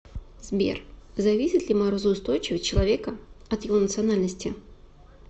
сбер зависит ли морозоустойчивость человека от его национальности